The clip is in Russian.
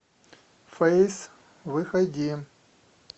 фэйс выходи